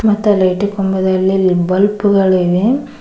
ಮತ್ತ್ ಆ ಲೈಟು ಕಂಬದಲ್ಲಿ ಬಲ್ಬ್ ಗಳಿವೆ.